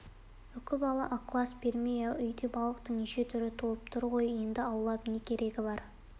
үкібала ықылас бермей ау үйде балықтың неше түрі толып тұр ғой енді аулап не керегі бар